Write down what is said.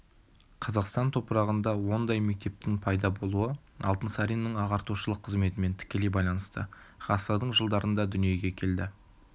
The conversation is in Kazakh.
қазақстан топырағында ондай мектептің пайда болуы алтынсариннің ағартушылық қызметімен тікелей байланысты ғасырдың жылдарында дүниеге келді